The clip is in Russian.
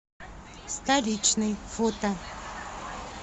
столичный фото